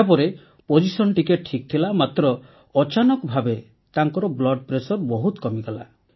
ଏହାପରେ ପୋଜିସନ୍ ଟିକେ ଠିକ୍ ଥିଲା ମାତ୍ର ଅଚାନକ ଭାବେ ତାଙ୍କର ରକ୍ତଚାପ ବହୁତ କମିଗଲା